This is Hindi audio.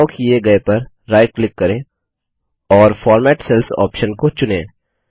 चुनाव किए गए पर राइट क्लिक करें और फॉर्मेट सेल्स ऑप्शन को चुनें